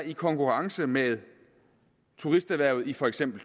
i konkurrence med turisterhvervet i for eksempel